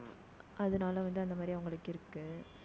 அதனால வந்து, அந்த மாதிரி, அவங்களுக்கு இருக்கு